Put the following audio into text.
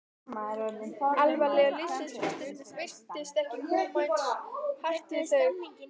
alvara lífsins virtist ekki koma eins hart við þau.